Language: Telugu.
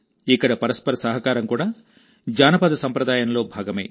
ఇక్కడ పరస్పర సహకారం కూడా జానపద సంప్రదాయంలో భాగమే